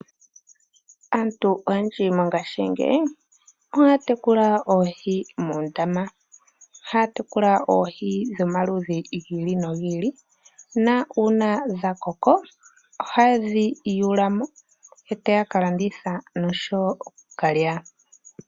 Aantu oyendji mongashingeyi ohaya tekula oohi moondama. Ohaya tekula oohi dhomaludhi gi ili nogi ili, na uuna dha koko ohaye dhi yuula mo eyaya ka landitha noshowo okukalya.